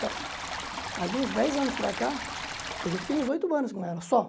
aí de uns dez anos para cá, quer dizer eu fiquei uns oito anos com ela, só.